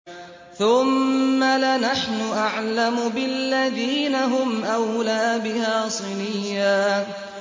ثُمَّ لَنَحْنُ أَعْلَمُ بِالَّذِينَ هُمْ أَوْلَىٰ بِهَا صِلِيًّا